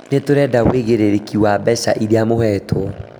Nĩtũrenda ũigĩrĩrĩriki wa mbeca iria mũhetwo